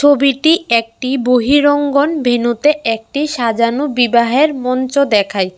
ছবিটি একটি বহিরঙ্গন ভেন্যুতে একটি সাজানো বিবাহের মঞ্চ দেখায়।